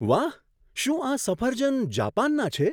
વાહ! શું આ સફરજન જાપાનનાં છે?